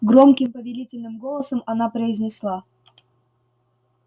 громким повелительным голосом она произнесла